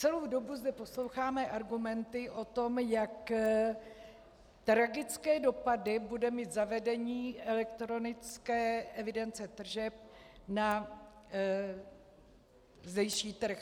Celou dobu zde posloucháme argumenty o tom, jak tragické dopady bude mít zavedení elektronické evidence tržeb na zdejší trh.